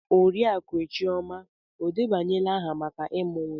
Oriakụe chioma o debanyela aha maka ịmụ nwa?